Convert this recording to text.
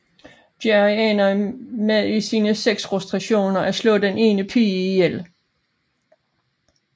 Jerry ender med i sine sexfrustrationer at slå den ene pige ihjel